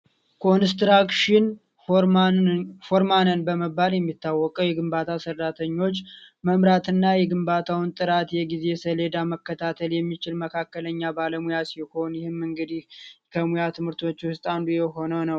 ኮንስትራክሽን ፎርማንን በመባል የሚታወቀ የግንባታ መምራትና የግንባታውን ጥራት የጊዜ ሰሌዳ መከታተል የሚችል መካከለኛ ባለሙያ ሲሆን ይህንን እንግዲያው ከሙያ ትምህርቶች ውስጥ አንዱ የሆነው።